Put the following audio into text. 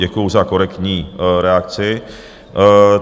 Děkuju za korektní reakci.